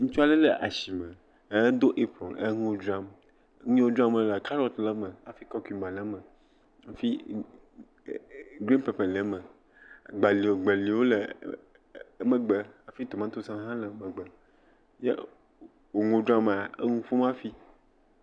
Ŋutsu aɖe le asime, edo apron enu dzram, nu yiwo dzram wòlea, karrot le eme hafi kukumba le eme hafi n..n…n..e.e.. gren peper ;e eme, gbali gbeliwo hã le e.e..e…emegbe hafi tomatosi le emegbe ye wò nuwo dzram ma enɔ nu ƒom hafi.